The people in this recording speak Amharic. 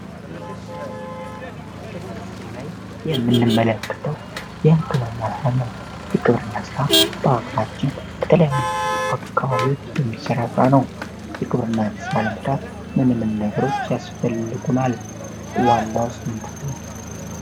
ይህ በምስሉ ላይ የምንመለክተው የህንክብርኛ ስራ ነው የክብርና ሥራ በአጋራችን ከተለያዩ አካባቢዎች የሚሠራ ሥራ ነው የቅብርና ሥራ ዓለም ሥርዓት ምንምን ነገሮች ያስፈልጉን አል ዋላውስምንት ነው።